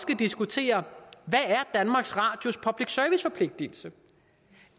diskutere hvad danmarks radios public service forpligtelse